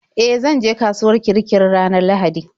E, zanje kasuwar Kirikiri ranar Lahadi.